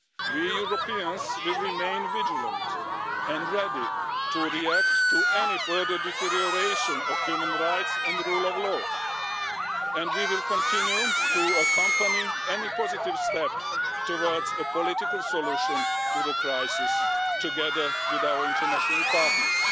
We Europeans will remain vigilant and ready to react to any further deterioration of human rights and the rule of law, and we will continue to accompany any positive step towards a political solution to the crisis, together with our international partners.